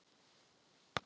Ertu góður í að syngja?